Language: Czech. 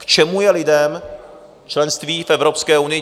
K čemu je lidem členství v Evropské unii?